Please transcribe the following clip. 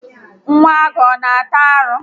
Nwa agụ ana ata arụ?